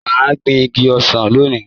Mà á gbin igi ọsàn lóni.